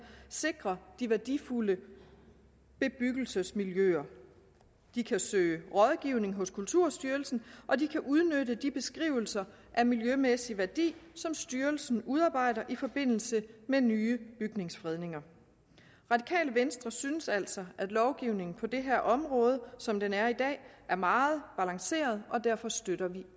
sikre de værdifulde bebyggelsesmiljøer de kan søge rådgivning hos kulturstyrelsen og de kan udnytte de beskrivelser af miljømæssig værdi som styrelsen udarbejder i forbindelse med nye bygningsfredninger radikale venstre synes altså at lovgivningen på det her område som den er i dag er meget balanceret og derfor støtter vi